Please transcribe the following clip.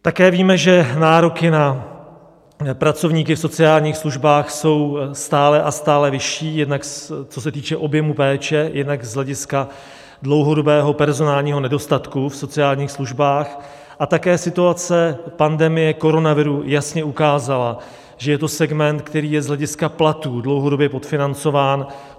Také víme, že nároky na pracovníky v sociálních službách jsou stále a stále vyšší, jednak, co se týče objemu péče, jednak z hlediska dlouhodobého personálního nedostatku v sociálních službách, a také situace pandemie koronaviru jasně ukázala, že je to segment, který je z hlediska platu dlouhodobě podfinancován.